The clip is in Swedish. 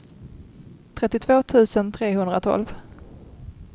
trettiotvå tusen trehundratolv